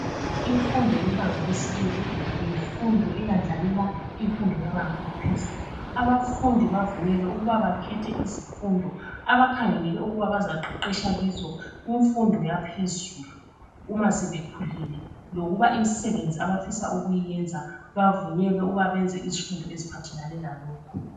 imfundo yebanga lesibili yimfundo yimfundo eyendlalela imfundo yebanga eliphezulu abafundi bavunyelwe ukuba bakhethe izifundo abakhangelele ukuba bazaqheqhetsha kizo kumfundo yaphezulu uma sebekhulile lokuba imisebenzi abafisa ukuyiyenza bavunyelwe ukuba bayenze izifundo eziphathelane lalokho